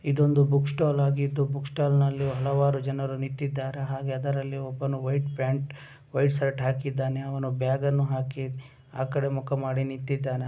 ಇದೊಂದು ಬುಕ್ ಸ್ಟಾಲಾ ಆಗಿದ್ದು ಬುಕ್ ಸ್ಟಾಲ್ ನಲ್ಲಿ ಹಲವಾರು ಜನರು ಇದ್ದಾರೆ. ಹಾಗೆ ಅದರಲ್ಲಿ ಒಂದು ವೈಟ್ ಪ್ಯಾಂಟ್ ವೈಟ್ ಶರ್ಟ್‌ ಹಾಕಿದ್ದಾನೆ. ಅವನು ಬ್ಯಾಗ್ ಅನ್ನು ಹಾಕಿ ಆ ಕಡೆ ಮುಖ ಮಾಡಿ ನಿಂತಿದ್ದಾನೆ.